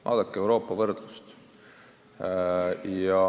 Vaadake võrdlust muu Euroopaga!